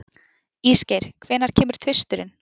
Ísgeir, hvenær kemur tvisturinn?